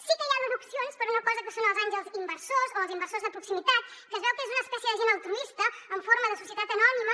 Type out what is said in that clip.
sí que hi ha deduccions per a una cosa que són els àngels inversors o els inversors de proximitat que es veu que és una espècie de gent altruista en forma de societat anònima